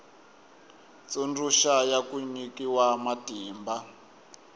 tsundzuxa ya ku nyikiwa matimba